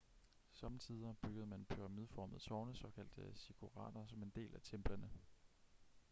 sommetider byggede man pyramideformede tårne såkaldte ziggurater som en del af templerne